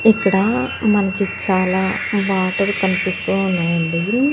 ఇక్కడ మనకి చాలా వాటర్ కనిపిస్తూ ఉన్నాయండి.